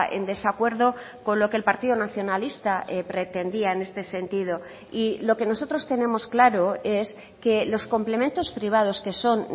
en desacuerdo con lo que el partido nacionalista pretendía en este sentido y lo que nosotros tenemos claro es que los complementos privados que son